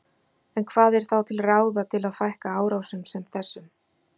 En hvað er þá til ráða til að fækka árásum sem þessum?